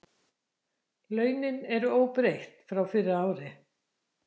Launin eru óbreytt frá fyrra ári